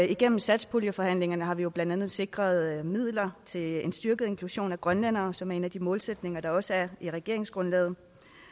gennem satspuljeforhandlingerne har vi jo blandt andet sikret midler til styrket inklusion af grønlændere som er en af de målsætninger der også er i regeringsgrundlaget